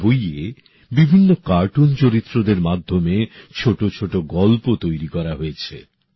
এই বইয়ে বিভিন্ন কার্টুন চরিত্রদের মাধ্যমে ছোট ছোট গল্প তৈরী করা হয়েছে